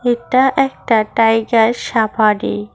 এটা একটা tiger safari.